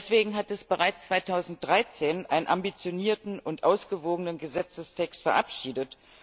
Deswegen hat es bereits 2013 einen ambitionierten und ausgewogenen Gesetzestext verabschiedet.